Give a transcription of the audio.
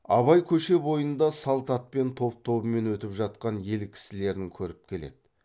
абай көше бойында салт атпен топ тобымен өтіп жатқан ел кісілерін көріп келеді